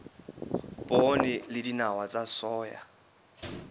poone le dinawa tsa soya